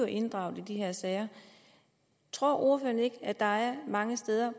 inddraget i de her sager tror ordføreren ikke at der er mange steder